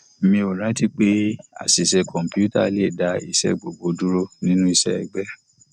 mi ò rántí pé àṣìṣe kọǹpútà le dá iṣẹ gbogbo dúró nínú iṣẹ egbe